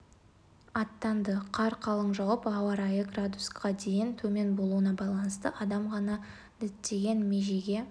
аттанды қар қалың жауып ауа райы градусқа дейін төмен болуына байланысты адам ғана діттеген межеге